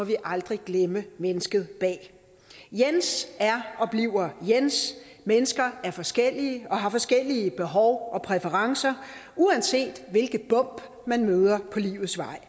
vi aldrig glemme mennesket bag jens er og bliver jens mennesker er forskellige og har forskellige behov og præferencer uanset hvilke bump man møder på livets vej